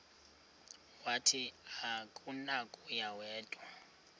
wathi akunakuya wedw